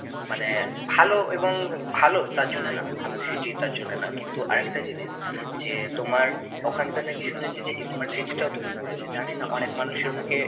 মানে ভালো এবং ভালো, তার জন্য না। ভালো city তার জন্য না। কিন্তু আর একটা জিনিস যে তোমার ওখানকার নাকি শুনেছি যে ismart city টাও তৈরি করেছে। জানি না অনেক মানুষের মুখে